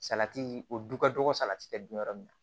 Salati o du ka dɔgɔ salati bɛ dun yɔrɔ min na